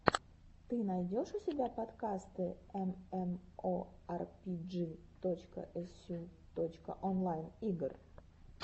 ты найдешь у себя подкасты эмэмоарпиджи точка эсю точка онлайн игр